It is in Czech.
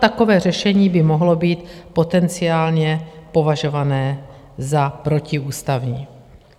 Takové řešení by mohlo být potenciálně považované za protiústavní.